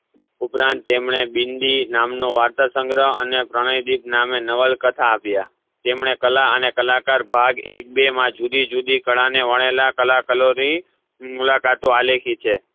ઉપરાંત તેમને બિંદી નામનો વાર્તાસંગ્રહ અને પ્રણયદિપ નામે નવલકથા આપ્યા તેમને કાલા અને કલાકાર ભાગ એક બે માં જુદી જુદી કાળા ને વરણેલા કલાકારોની મુલાકાતો આલેખી છે